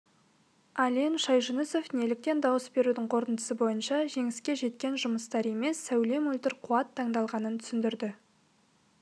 ален шайжүнісов неліктен дауыс берудің қорытындысы бойынша жеңіске жеткен жұмыстар емес сәуле мөлдір қуат таңдалғанын түсіндірді